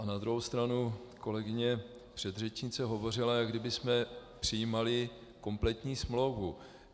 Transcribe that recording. A na druhou stranu kolegyně předřečnice hovořila, jako kdybychom přijímali kompletní smlouvu.